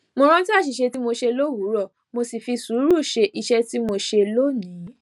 mo rántí àṣìṣe tí mo ṣe lówùúrọ mo sì fi sùúrù ṣe iṣẹ tí mò ń ṣe lónìí